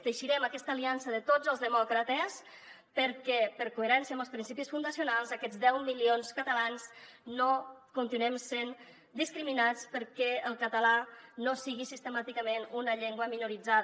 teixirem aquesta aliança de tots els demòcrates perquè per coherència amb els principis fundacionals aquests deu milions de catalans no continuem sent discriminats perquè el català no sigui sistemàticament una llengua minoritzada